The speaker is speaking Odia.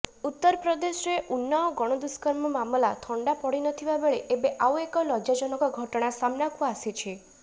ଉତ୍ତରପ୍ରଦେଶରେ ଉନ୍ନାଓ ଗଣଦୁଷ୍କର୍ମ ମାମଲା ଥଣ୍ଡା ପଡିନଥିବା ବେଳେ ଏବେ ଆଉ ଏକ ଲଜ୍ଜାଜନକ ଘଟଣା ସାମ୍ନାକୁ ଆସିଛି